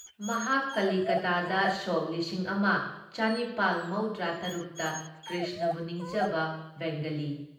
ꯃꯍꯥꯛ ꯀꯂꯤꯀꯇꯥꯗ ꯁꯣꯛ ꯂꯤꯁꯤꯡ ꯑꯃ ꯆꯅꯤꯄꯥꯜ ꯃꯧꯗ꯭ꯔꯥ ꯇꯔꯨꯛ ꯇ ꯀ꯭ꯔꯤꯁꯅꯕꯨ ꯅꯤꯡꯖꯕ ꯕꯦꯡꯒꯂꯤ